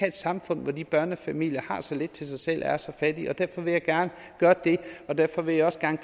et samfund hvor de børnefamilier har så lidt til sig selv og er så fattige derfor vil jeg gerne gøre det derfor vil jeg også gerne